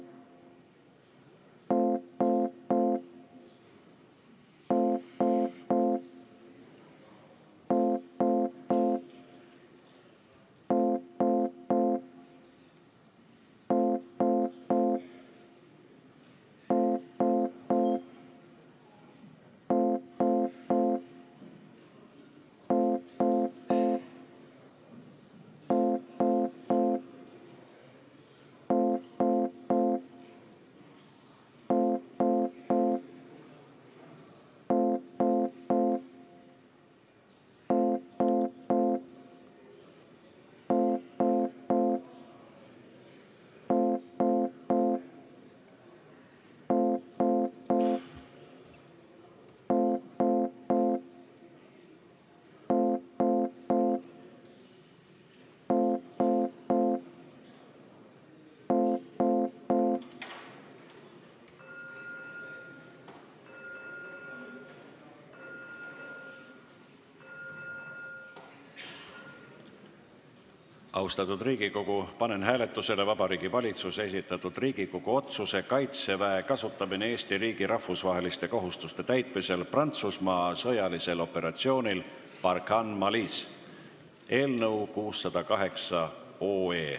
Austatud Riigikogu, panen hääletusele Vabariigi Valitsuse esitatud Riigikogu otsuse "Kaitseväe kasutamine Eesti riigi rahvusvaheliste kohustuste täitmisel Prantsusmaa sõjalisel operatsioonil Barkhane Malis" eelnõu 608.